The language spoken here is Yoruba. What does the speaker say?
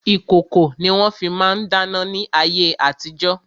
Ìkòkò ni wọ́n fi ma ń dáná ní ayé àtijo.